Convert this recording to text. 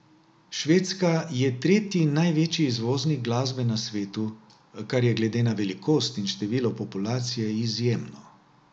Švedska je tretji največji izvoznik glasbe na svetu, kar je glede na velikost in število populacije izjemno.